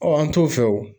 an t'o fɛ o